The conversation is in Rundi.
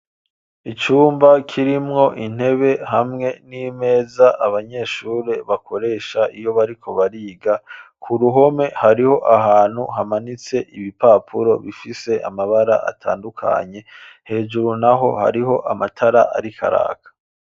Icumba kirimwo intebe hamwe n'imeza abanyeshuri bakoresha iyo bariko bariga. K'uruhome hariho ahantu hamanitse ibipapuro bifise amabara atandukanye hejuru n'aho hariho amatara ariko araka.